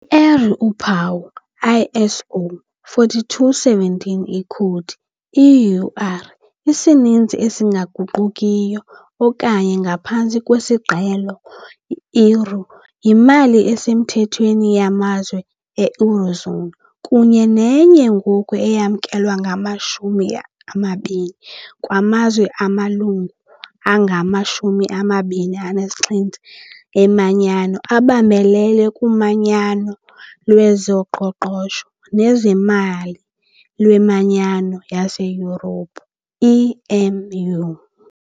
I-eur, uphawu - ISO 4217 ikhowudi - EUR, isininzi esingaguqukiyo okanye, ngaphantsi kwesiqhelo, " euri ", yimali esemthethweni yamazwe e-"eurozone" kunye nenye ngoku eyamkelwe ngama-20 kwaMazwe angamaLungu angama-27 eManyano abambelela kuManyano lwezoQoqosho nezeMali lweManyano yaseYurophu, EMU.